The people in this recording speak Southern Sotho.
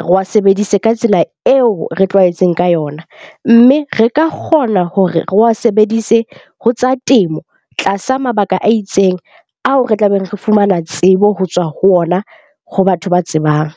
re wa sebedise ka tsela eo re tlwaetseng ka yona. Mme re ka kgona hore re wa sebedise ho tsa temo tlasa mabaka a itseng, ao re tlabeng re fumana tsebo ho tswa ho ona ho batho ba tsebang.